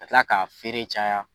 Ka tila k'a feere caya